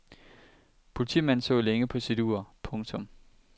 Politimanden så længe på sit ur. punktum